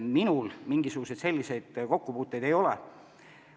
Minul mingisuguseid negatiivseid kokkupuuteid ei ole olnud.